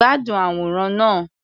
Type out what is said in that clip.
Gbádùn àwòrán náà.